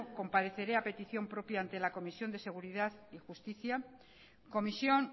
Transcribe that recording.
compareceré a petición propia ante la comisión de seguridad y justicia comisión